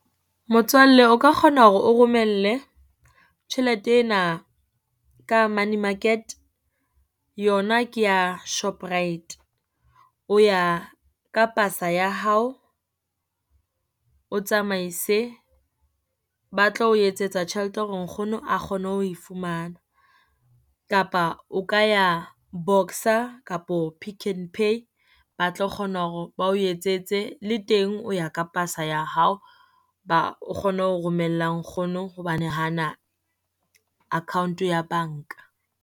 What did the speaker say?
Motswalle o ka kgona hore o romelle tjhelete ena ka money market, yona ke ya Shoprite. O ya ka pasa ya hao, o tsamaise ba tlo o etsetsa tjhelete hore nkgono a kgone ho e fumana. Kapa o ka ya Boxer kapo Pick n Pay, ba tlo kgona hore ba o etsetse. Le teng o ya ka pasa ya hao ba o kgone ho romella nkgono hobane ha ana account-o ya banka.